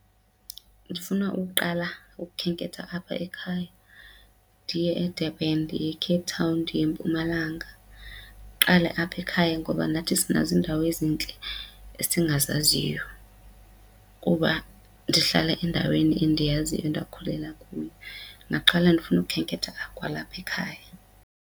Ndifuna ukuqala ukukhenketha apha ekhaya, ndiye eDurban, ndiye eCape Town, ndiye eMpumalanga. Ndiqale apha ekhaya ngoba nathi sinazo iindawo ezintle esingazaziyo kuba ndihlala endaweni endiyaziyo endakhulela kuyo. Ndingaqala ndifune ukukhenketha kwalapha ekhaya.